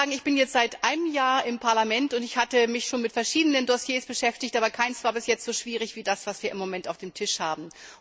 Ich bin jetzt seit einem Jahr im Parlament, und ich hatte mich schon mit verschiedenen Dossiers beschäftigt, aber keines war bisher so schwierig wie das, was wir jetzt auf dem Tisch haben.